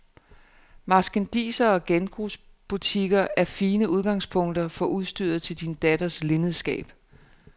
Marskandisere og genbrugsbutikker er fine udgangspunkter for udstyret til din datters linnedskab.